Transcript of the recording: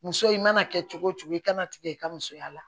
Muso i mana kɛ cogo cogo i kana tigɛ i ka musoya la